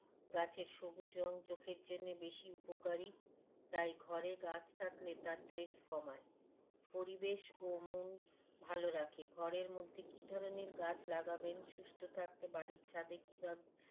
গাছের সবুজ রং চোখের জন্যে বেশি উপকারী তাই ঘরে গাছ থাকলে তা stress কমায় পরিবেশ ও মন ভালো রাখে ঘরের মধ্যে কী ধরনের গাছ লাগাবেন সুস্থ্য থাকতে বাড়ির ছাদে কীভাবে